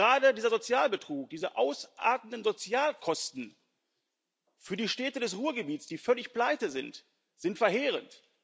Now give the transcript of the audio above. Gerade dieser Sozialbetrug und diese ausartenden Sozialkosten für die Städte des Ruhrgebiets, die völlig pleite sind, sind verheerend.